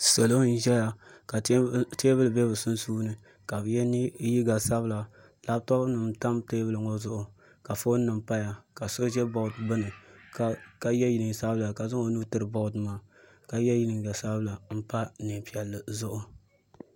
Salo n ʒɛya ka teebuli ʒɛ bi sunsuuni ka bi yɛ liiga sabila labtop nim n tam teebuli ŋo zuɣi ka foon nim paya ka so ʒɛ bood gbuni ka yɛ neen sabila ka zaŋ o nuu tiri bood maa ka yɛ liiga sabinli n pa neen piɛlli zuɣu